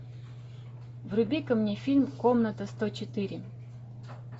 вруби ка мне фильм комната сто четыре